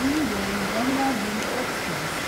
Indore Dehradun express